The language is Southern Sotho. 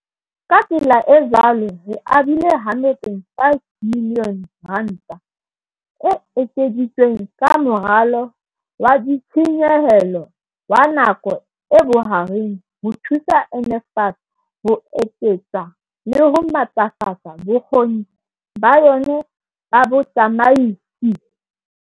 "Ka tsela e jwalo re abile R105 miliyone e ekeditsweng ka Moralo wa Ditshenyehelo wa Nako e Bohareng ho thusa NSFAS ho eketsa le ho matlafatsa bokgoni ba yona ba botsamaisi."